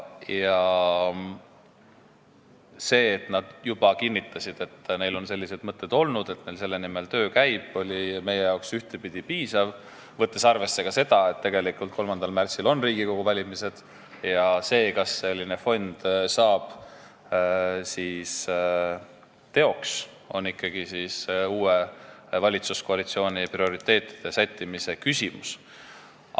See, et nad kinnitasid, et neil on sellised mõtted olnud ja selle nimel töö käib, oli meile ühtepidi piisav, võttes arvesse ka seda, et 3. märtsil on Riigikogu valimised ja see, kas see fond saab teoks, on ikkagi uue valitsuskoalitsiooni prioriteetide sättimise küsimus.